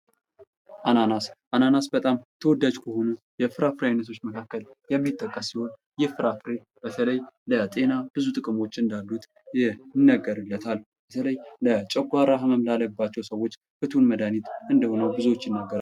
አናናስ በጣም ተወዳጅ የፍራፍሬ አይነቶች መካከል ከሚጠቀስ ሲሆን ይህ ፍራፍሬ በተለይም ለጤና ብዙ ጥቅሞች ያሉት እንድሆነ ይነገረለታል ለጨጓራ ህመም ላለባቸው ሰዎች ፍቱን መድሃኒት እንደሆኑ ብዙ ሰዎች ይናገራል፡፡